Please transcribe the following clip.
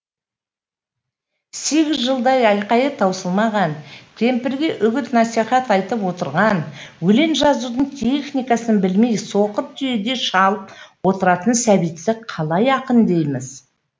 сегіз жылдай айқайы таусылмаған кемпірге үгіт насихат айтып отырған өлең жазудың техникасын білмей соқыр түйедей шалып отыратын сәбитті қалай ақын дейміз